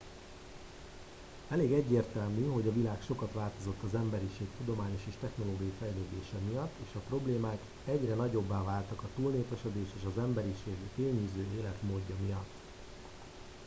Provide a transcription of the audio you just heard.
elég egyértelmű hogy a világ sokat változott az emberiség tudományos és technológiai fejlődése miatt és a problémák egyre nagyobbá váltak a túlnépesedés és az emberiség fényűző életmódja miatt